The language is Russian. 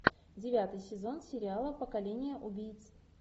девятый сезон сериала поколение убийц